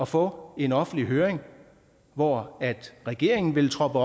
få en offentlig høring hvor regeringen ville troppe